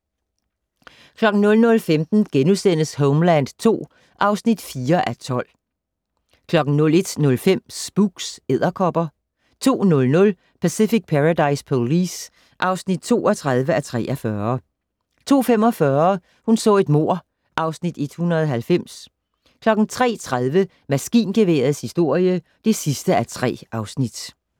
00:15: Homeland II (4:12)* 01:05: Spooks: Edderkopper 02:00: Pacific Paradise Police (32:43) 02:45: Hun så et mord (Afs. 190) 03:30: Maskingeværets historie (3:3)